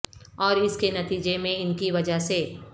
اور اس کے نتیجے میں ان کی وجہ سے